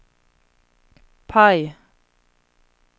PIE